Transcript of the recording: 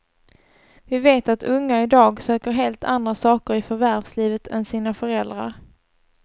Vi vet att unga idag söker helt andra saker i förvärvslivet än sina föräldrar.